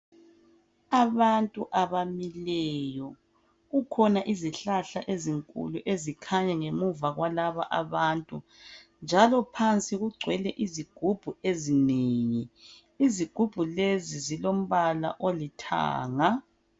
Abantu abamiliyo kukhona izihlahla ezinkulu ezikhanya phansi kwalaba bantu njalo phansi kugcwele izigumbu. ezineng, izigumbu lezi zilombala olithanga